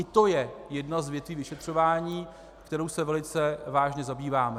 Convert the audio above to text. I to je jedna z větví vyšetřování, kterou se velice vážně zabýváme.